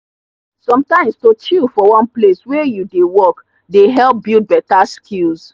sometimes to chill for one place wey you dey work dey help build better skills.